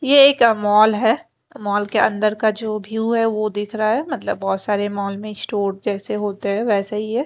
ये एक मॉल है मॉल के अंदर का जो व्यू है वो दिख रहा है मतलब बहुत सारे मॉल में स्टोर जैसे होते हैं वैसे ही है।